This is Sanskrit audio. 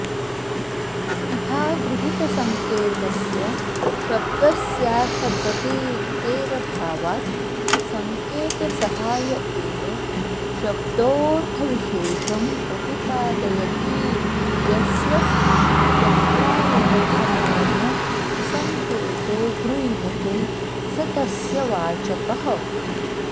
इहागृहीतसंकेतस्य शब्दस्यार्थप्रतीतेरभावात् संकेतसहाय एव शब्दोऽर्थविशेषं प्रतिपादयतीति यस्य यत्राव्यवधानेन संकेतो गृह्यते स तस्य वाचकः